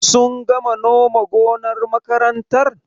Sun gama noma gonar makarantar?